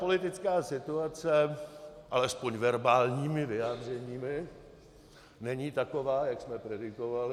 Politická situace, alespoň verbálními vyjádřeními, není taková, jak jsme predikovali.